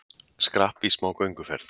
Skrapp í smá gönguferð